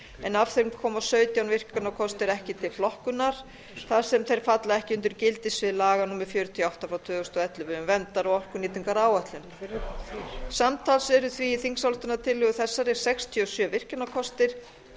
af þeim koma sautján virkjunarkostir ekki til flokkunar þar sem þeir falla ekki undir gildissvið laga númer fjörutíu og átta tvö þúsund og ellefu um verndar og orkunýtingaráætlun samtals eru því í þingsályktunartillögu þessari sextíu og sjö virkjunarkostir